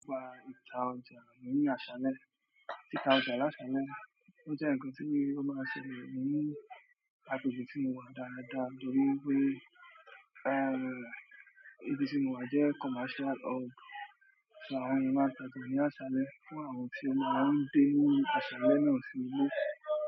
Ọba ìta ọjà ní àsálẹ́, ìta ọjà lásálẹ̀. O je nkan ti o maa n ṣẹlẹ̀ ni agbègbè ti mo wa dáadáa nítorí wípé ibí mo wa je commercial hub. Ṣo, àwọn eyan maa n tajà ní àsálẹ́ fún àwọn tí wọ́n máa ń dé ní àsálẹ́, náà sì ilé.